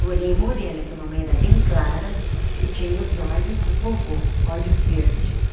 Porém morena, que a mamãe era bem clara, e tinha os olhos do vovô, olhos verdes.